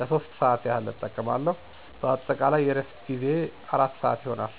ለሶስት ሰአት ያህል እጠቀማለሁ። በአጠቃላይ የእረፍት ጊዜየ አራት ሰአት ይሆናል።